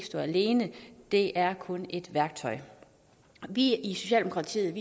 stå alene det er kun et værktøj vi i socialdemokratiet